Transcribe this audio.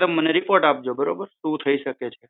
તે મને રીપોર્ટ આપજો બરોબર શું થઇ શકે એમ છે